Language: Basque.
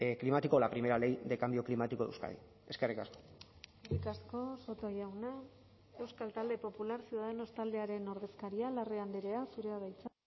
climático la primera ley de cambio climático de euskadi eskerrik asko eskerrik asko soto jauna euskal talde popular ciudadanos taldearen ordezkaria larrea andrea zurea da hitza